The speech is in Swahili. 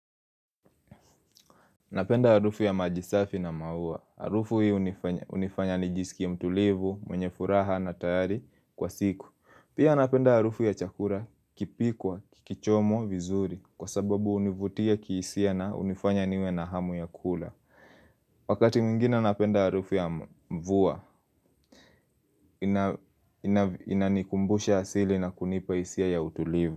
Napenda harufu ya maji safi na maua. Harufu hii hunifanya nijisikie mtulivu, mwenye furaha na tayari kwa siku. Pia napenda harufu ya chakula, kipikwa, kikichomwa, vizuri kwa sababu hunivutia kihisia na hunifanya niwe na hamu ya kula. Wakati mwingine napenda harufu ya mvua. Inanikumbusha asili na kunipa hisia ya utulivu.